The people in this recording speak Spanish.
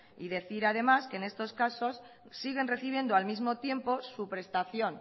y decir además que en estos casos siguen recibiendo al mismo tiempo su prestación